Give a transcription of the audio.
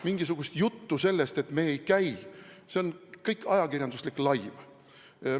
Mingisugune jutt sellest, et me ei käi – see kõik on ajakirjanduslik laim.